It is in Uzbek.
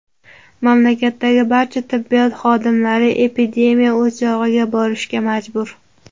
Mamlakatdagi barcha tibbiyot xodimlari epidemiya o‘chog‘iga borishga majbur.